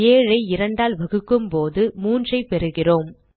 7 ஐ 2 ஆல் வகுக்கும்போது 3 ஐ பெறுகிறோம்